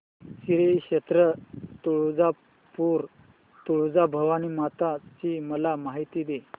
श्री क्षेत्र तुळजापूर तुळजाभवानी माता ची मला माहिती दे